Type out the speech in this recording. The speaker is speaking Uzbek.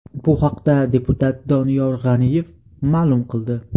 Bu haqda deputat Doniyor G‘aniyev ma’lum qildi .